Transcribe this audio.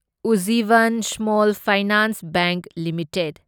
Ujjivan small finance bank limited